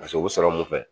Paseke u bɛ sɔrɔ mun fɛ